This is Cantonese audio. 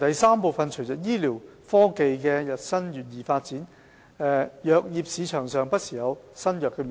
三隨着醫療科技發展日新月異，藥業市場上不時有新藥面世。